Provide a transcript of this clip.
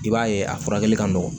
I b'a ye a furakɛli ka nɔgɔn